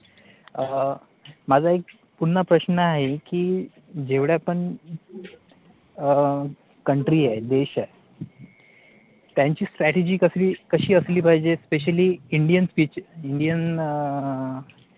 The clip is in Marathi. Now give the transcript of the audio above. माझा एक पुन्हा प्रश्न आहे की जेवढ्या पण अं COUNTRY आहे, देश आहे, त्यांची strategy कशी असली पाहिजे, Specially INDIAN STAT E Indian अं